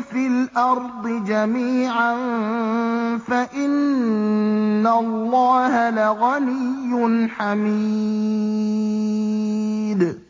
فِي الْأَرْضِ جَمِيعًا فَإِنَّ اللَّهَ لَغَنِيٌّ حَمِيدٌ